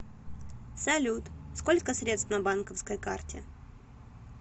салют сколько средств на банковской карте